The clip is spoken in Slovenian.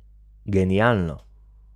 Genialno.